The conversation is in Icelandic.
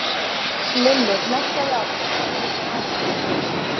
Lilli hneggjaði áfram, yfir sig ánægður með hrekkinn.